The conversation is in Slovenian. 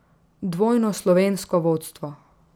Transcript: Dvojno slovensko vodstvo.